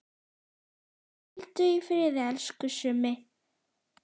Hvíldu í friði, elsku Summi.